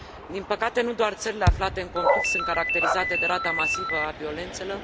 Din păcate, nu doar țările aflate în conflict sunt caracterizate de rata masivă a violențelor